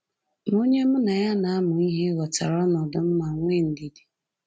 Ma onye mụ na ya na-amụ ihe ghọtara ọnọdụ m ma nwee ndidi